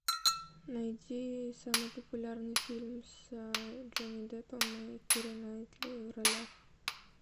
найди самый популярный фильм с джонни деппом и кирой найтли в ролях